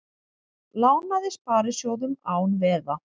Lánaði sparisjóðum án veða